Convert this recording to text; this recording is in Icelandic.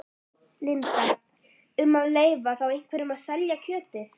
Linda: Um að leyfa þá einhverjum að selja kjötið?